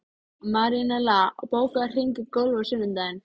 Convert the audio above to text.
Marinella, bókaðu hring í golf á sunnudaginn.